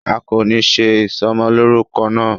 A kò ní ṣe ìsọmọlórúkọ náà